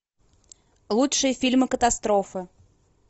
лучшие фильмы катастрофы